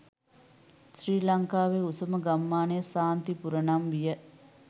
ශ්‍රී ලංකාවේ උසම ගම්මානය ශාන්තිපුර නම් විය